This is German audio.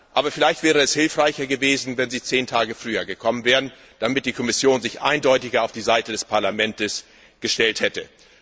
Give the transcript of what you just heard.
Aber vielleicht wäre es hilfreicher gewesen, wenn sie zehn Tage früher gekommen wären, damit die Kommission sich eindeutiger auf die Seite des Parlaments gestellt hätte.